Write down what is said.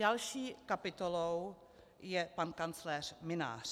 Další kapitolou je pan kancléř Mynář.